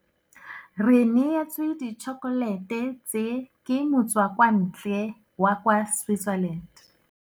Re neêtswe ditšhokolêtê tse, ke motswakwantlê wa kwa Switzerland.